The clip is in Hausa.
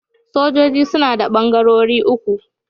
Sojoji suna da ɓangarori uku.